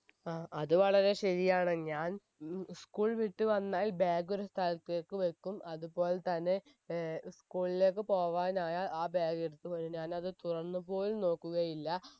ആ അത് വളരെ ശരിയാണ് ഞാൻ ഉം school വിട്ട് വന്നാൽ bag ഒരു സ്ഥലത്തേക്ക് വെക്കും അതുപോലെതന്നെ ഏർ school ലേക്ക് പോവാനായാൽ ആ bag എടുത്ത് വരും ഞാൻ അത് തുറന്ന് പോലും നോക്കുകയില്ല